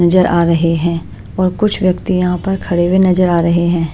नजर आ रहे हैं और कुछ व्यक्ति यहां पर खड़े हुए नजर आ रहे हैं।